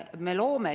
Aitäh sõna andmast!